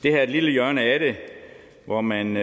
er et lille hjørne af det hvor man